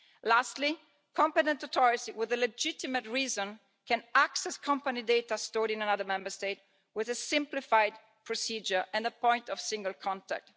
Lastly, competent authorities with a legitimate reason can access company data stored in another Member State via a simplified procedure and a point of single contact.